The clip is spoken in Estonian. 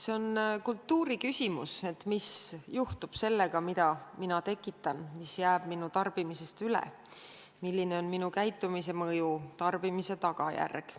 See on kultuuri küsimus, mis juhtub sellega, mida mina tekitan, mis jääb minu tarbimisest üle, milline on minu käitumise mõju, tarbimise tagajärg.